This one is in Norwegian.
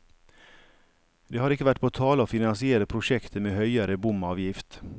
Det har ikke vært på tale å finansiere prosjektet med høyere bomavgift.